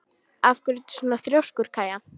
Af hverju ertu svona þrjóskur, Kaía?